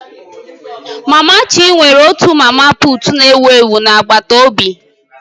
Mama Chi nwere otu mama puut ewu ewu na agbataobi